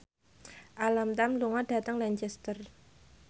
Alam Tam lunga dhateng Lancaster